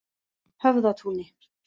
Höfðatúni